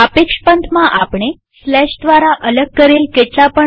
સાપેક્ષ પંથમાં આપણે દ્વારા અલગ કરેલ કેટલા પણ